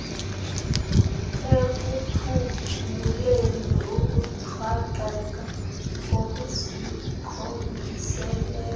ekuphunguleni ukuthwaxeka kokusinqongileyo